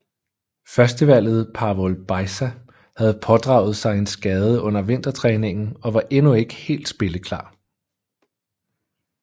Førstevalget Pavol Bajza havde pådraget sig en skade under vintertræningen og var endnu ikke helt spilleklar